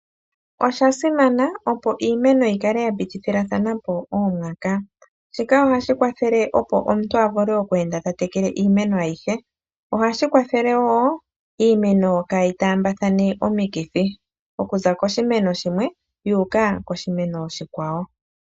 Osha simana opo iimeno yi kale ya pitithilathana po oomwaka shika ohashi kwathele opo omuntu a vule oku kala ta tekele iimeno ayihe ohashi kwathele wo iimeno kaayi taambathane omikithi okuza koshimeno shimwe yuuka koshimeno oshikwawo.